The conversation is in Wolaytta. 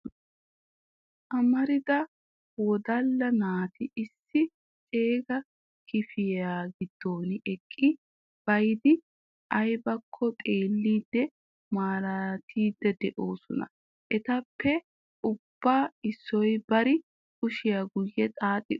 amarida wodala naati issi ceega kifiliya giddon eqqi bayyidi aybbakko xeellidi malaalettidi de'oosona. etappe ubba issoy bari kushiyaa guyye xaaxxi uttiis.